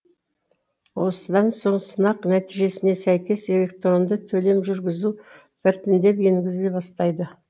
осыдан соң сынақ нәтижесіне сәйкес электронды төлем жүргізу біртіндеп енгізіле бастайды